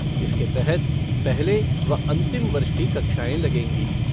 इसके तहत पहले व अंतिम वर्ष की कक्षाएं लगेंगी।